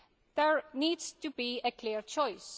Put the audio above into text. There needs to be a clear choice.